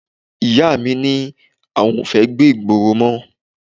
Ìyá mi ni àwọn ò fẹ́ gbé ìgboro mọ́